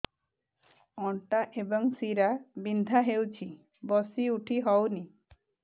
ଅଣ୍ଟା ଏବଂ ଶୀରା ବିନ୍ଧା ହେଉଛି ବସି ଉଠି ହଉନି